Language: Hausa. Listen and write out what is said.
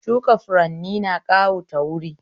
Shuka furanni na ƙawata wuri